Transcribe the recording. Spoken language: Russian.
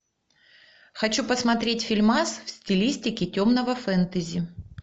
хочу посмотреть фильмас в стилистике темного фэнтези